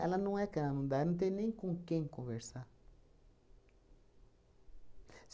Ela não é que ela não dá, ela não tem nem com quem conversar.